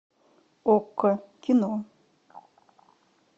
окко кино